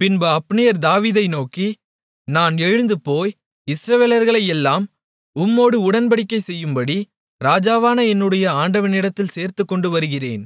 பின்பு அப்னேர் தாவீதை நோக்கி நான் எழுந்துபோய் இஸ்ரவேலர்களை எல்லாம் உம்மோடு உடன்படிக்கைசெய்யும்படி ராஜாவான என்னுடைய ஆண்டவனிடத்தில் சேர்த்துக்கொண்டுவருகிறேன்